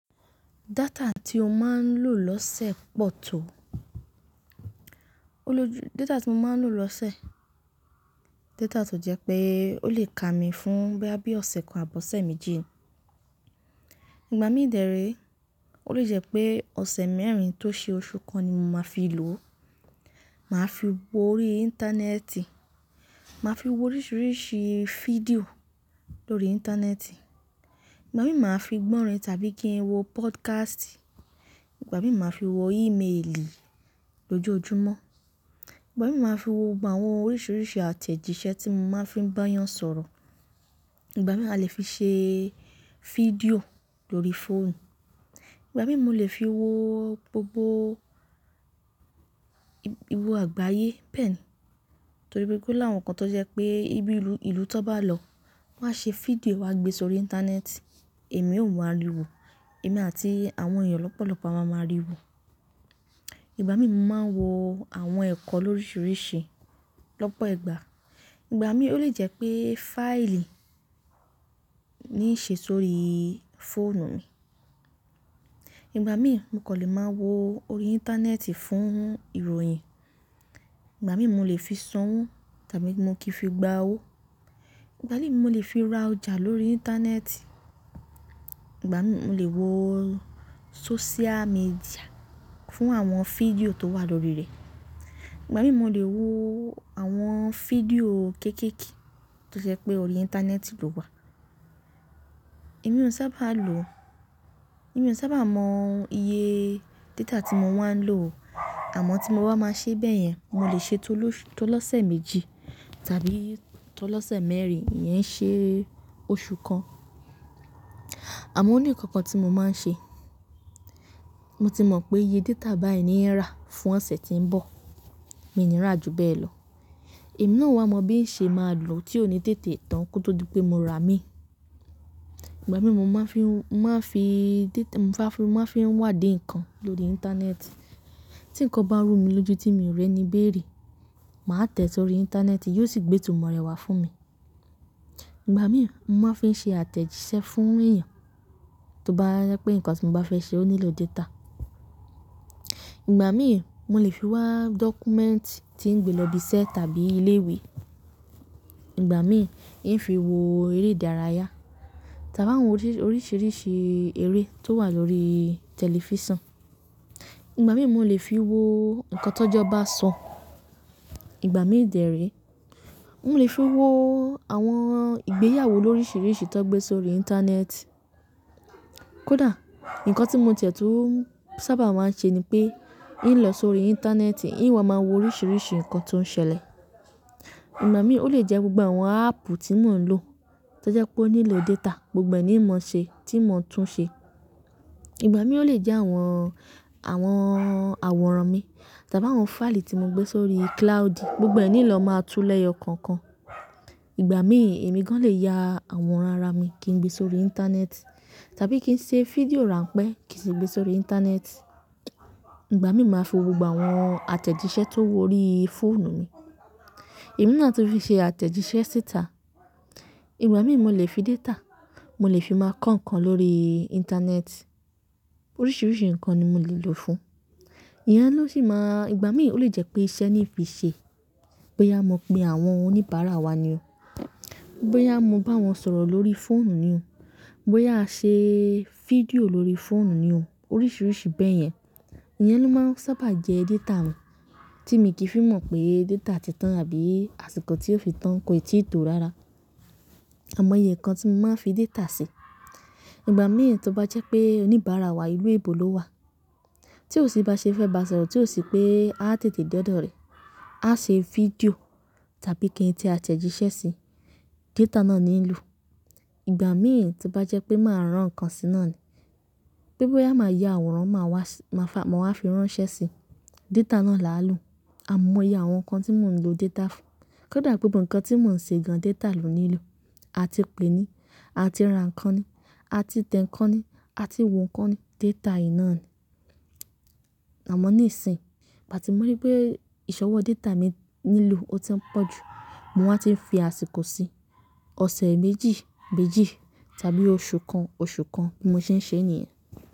Data tí o máa ń lò lọ́sẹ̀ pọ̀ tó? Data tí mo máa ń lò lọ́sẹ̀, data tó jẹ pé ó lè ka mi fún bóyá bí ọ̀sẹ̀ kan àbí ọ̀sẹ̀ méjì. Ìgbà mí dè ré, ó lè jẹ́ pé ọ̀sẹ̀ mẹ́rin tó ṣe oṣù kan ni mo máa fi lò. Máa fi wo orí Íńtánẹ́ẹ̀tì, màá fi wo oríṣìíríṣìí fídíò lórí Íńtánẹ́ẹ̀tì. Ìgbà mí màá fi gb'ọ́rin tàbí kí n wo podcast, ìgbà mí màá fi wo ímeèlì lójoojúmọ́. Ìgbà mí màá fi wo gbogbo àwọn oríṣìíríṣìí àtẹ̀jíṣẹ́ tí mo máa fi ń bá yàn sọ̀rọ̀. Ìgbà mí a lè fi ṣe fídíò lórí fóònù. Ìgbà mí mo lè fi wo gbogbo ìwo àgbáyé bẹ́ẹ̀ni, torí pé ò láwọn kan tó jẹ pé ibi ìlú ìlú tan bá lọ wọ́n á ṣe fídíò wọ́n á gbé sórí Íńtánẹ́ẹ̀tì, èmi ò wá rí wò, èmi àti àwọn èyàn lọ́pọ̀lọ́pọ̀ a máa ma rí i wò. Ìgbà mí mo máa n wo àwọn ẹ̀kọ́ lóríṣìíríṣìí lọ́pọ̀ ìgbà. Ìgbà mí ó lè jẹ́ pé fáìlì ní í ṣe sórí fóònu mi. Ìgbà mí mo kàn lè máa wo orí Íńtánẹ́ẹ̀tì fún ìròyìn, ìgbà mí mo lè fi sanwó tàbí mo kì í fi gba owó. Ìgbà mí mo lè fi ra ọjà lórí Íńtánẹ́ẹ̀tì, ìgbà mí mo lè wo social media fún àwọn fídíò tó wà lórí rẹ̀. Ìgbà mí mo lè wo àwọn fídíò kéékèèké tó jẹ́ pé orí Íńtánẹ́ẹ̀tì ló wà. Èmi ò sábà lo, èmi ò sábà mọ iye data tí mo wa ń lò o, àmọ́ tí mo bá máa ṣe bayẹn, mo lè ṣe t'olọ́sẹ̀ méjì tàbí t'olọ́sẹ̀ mẹ́rin ìyén ṣe oṣù kan. Àmọ́ ó ní ǹkan kan tí mo máa ń ṣe, mo ti mọ̀ pé iye data báyìí ní i rà fún ọ̀sẹ̀ tí ń bọ̀, mi ò ní rà ju bẹ́ẹ̀ lọ. Èmi náà ò wá mọ bí ń ṣe máa lò tí ó ní tètè tán kó tó di pé mo rà mí. Ìgbà mí mo máa fi ń, máa fi data- mo máa fi, máa fi ń wádìí ǹkan lórí Íńtánẹ́ẹ̀tì. Tí ǹkan bá rú mi lójú tí mi ò rẹ́ni béèrè, màá tẹ̀ sórí Íńtánẹ́ẹ̀tì, yóò sì gbé ìtumọ̀ rẹ̀ wá fún mi. Ìgbà mí mo máa n fé ṣe àtẹ̀jíṣẹ́ fún èyàn, tó bá jẹ́ pé ǹkan tí mo bá fẹ́ ṣe ó nílò data. Ìgbà mí mo lè fi wá document tí ń gbé lọ ibi iṣẹ́ tàbí ilé ìwé. Ìgbà mí íń fi wo eré ìdárayá tàbí àwọn oríṣìíríṣìí eré tó wà lórí tẹ̀lifísàn. Ìgbà mí mo lè fi wo ǹkan tó'jọ bá sọ. Ìgbà mí dè rèé, mo lè fi wo àwọn ìgbéyàwó lóríṣìíríṣìí tán gbé sórí Íńtánẹ́ẹ̀tì. Kódà ǹkan tí mo tiẹ̀ tùn sábà máa ń ṣe ni pé, íń lọ sórí Íńtánẹ́ẹ̀tì, íń wá máa wo oríṣìíríṣìí ǹkan tó ń ṣẹlẹ̀. Ìgbà mí ó lè jẹ́ gbogbo àwọn áàpù tí mò ń lò tó jẹ́ pé ó nílò data gbogbo è ni in mò ṣe tí n mò tún ṣe. Ìgbà mí ó lè jẹ́ àwọn, àwọn àwòrán mi tàbí àwọn fáìlì tí mo gbé sórí cloud gbogbo ẹ ni n lọ máa tú lẹ́yọ kòòkan. Ìgbà mí èmi gan lè ya àwòrán ara mi kí n gbé sórí Íńtánẹ́ẹ̀tì tàbí kí n ṣe fídíò ránpẹ́ kí sì gbé sórí Íńtánẹ́ẹ̀tì. Ìgbà mí màá fi wo gbogbo àwọn àtẹ̀jíṣẹ́ tó wo orí fóònù mi. Èmi náà tún le ṣe àtẹ̀jíṣẹ́ títà. Ìgbà mí mo lè fi data, mo lè fi máa kọ́ ǹkan lórí Íńtánẹ́ẹ̀tì. Oríṣìíríṣìí ǹkan ni mo lè lò fún. Iyẹn ló sì máa-- ìgbà mí ó lè jẹ́ pé iṣẹ́ ni í fi ṣe, bóyá mo pe àwọn oníbàárà wa ni o, bóyá mo bá wọn sọ̀rọ̀ lórí fóònù ni o, bóyá a ṣe fídíò lórí fóònù ni o. Oríṣìíríṣìí bẹ́ yẹn. Iyẹn ló máa n sábà jẹ́ data mi tí mi kì í fi mọ̀ pé data ti tán àbí àsìkò tí yóò fi tán kò ì tí ì to rára. Àimoye ǹkan tí mo máa ń fi data ṣe, ìgbà mìí tó bá jẹ́ pé oníbàárà wa ìlú èèbó ló wà tí ò sì bá ṣe fẹ́ bá sọ̀rọ̀ tí ò sì pé a tètè dé ọ̀dọ̀ rẹ, a ṣe fídíò tàbí kí n te àtẹ̀jíṣẹ́ ṣi, data náà ní n ìlò. Ìgbà mìí ti o bá jẹ́ pé màá rán ǹkan sí náàni, pe bóyá màá ya àwòrán, màá wá, màá fa, màá wá fi ránṣẹ́ sí i, data náà làá lò. Àimoiye àwọn ǹkan tí mò ń lo data fún. Kódà gbogbo ǹkan tí mò ń ṣe gan data lò nílò. A ti pè ni, a ti rá ǹkan ni, a ti tẹ ǹkan ni, a ti wo ǹkan ni, data yìí náà ni. Àmọ́ ní ìsìn, ìgbà ti mọ̀ ri pé ìṣọwọ́ data mi lílò ó ti ń pọ̀ jù, mo wá ti ń fi àsìkò sí. Ọ̀sẹ̀ méjì méjì tàbí oṣù kan oṣù kan bí mo ṣe ń ṣe nìyen.